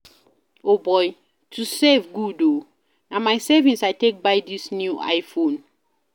O boy, to save good oo, na my savings I take buy dis new I-phone